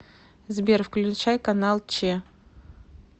сбер включай канал че